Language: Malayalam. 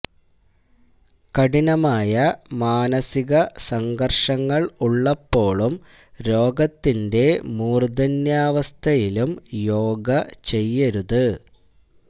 കഠിനമായ മാനസിക സംഘര്ങ്ങള് ഉള്ളപ്പോഴും രോഗത്തിന്റെ മൂര്ധന്യാവസ്ഥയിലും യോഗ ചെയ്യരുത്